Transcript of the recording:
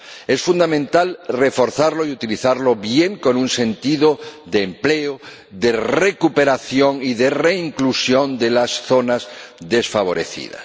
Es fundamental reforzarlo y utilizarlo bien con un sentido de empleo, de recuperación y de reinclusión de las zonas desfavorecidas.